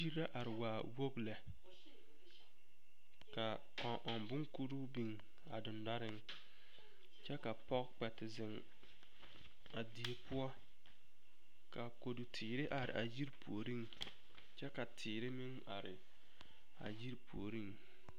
Die la a are waa wogi lɛ ka kõɔ ɔŋ boŋkuri biŋ a dendɔreŋ kyɛ ka pɔge kpɛ te zeŋ a die poɔ ka kodu teere are a yiri puoriŋ kyɛ ka teere meŋ are a yiri puoriŋ.